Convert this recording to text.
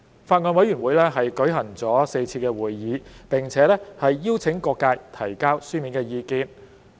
法案委員會舉行了4次會議，並邀請各界提交書面意見。